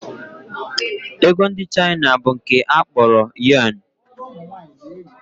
Ego ndị China bụ nke a kpọrọ Yọn